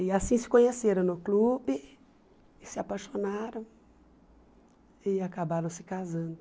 E assim se conheceram no clube, se apaixonaram e acabaram se casando.